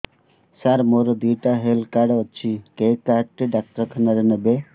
ସାର ମୋର ଦିଇଟା health card ଅଛି କେ କାର୍ଡ ଟି ଡାକ୍ତରଖାନା ରେ ନେବେ